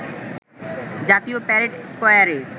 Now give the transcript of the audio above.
জাতীয় প্যারেড স্কয়ারে